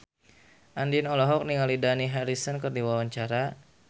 Andien olohok ningali Dani Harrison keur diwawancara